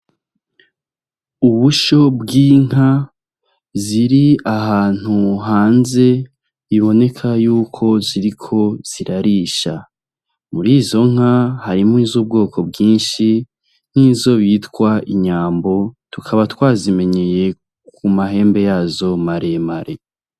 Ubusho bw'inka ziri ahantu hanze biboneka yuko ziriko zirarisha muri zo nka harimo iz’ubwoko bwinshi nk'izo bitwa inyambo tukaba twazimenyeye ku mahembe yazo maremare.